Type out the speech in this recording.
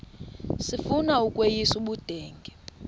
sifuna ukweyis ubudenge